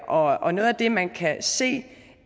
og noget af det man kan se